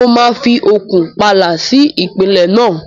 Mo máa fi okùn pààlà sí ìpìlẹ̀ náà.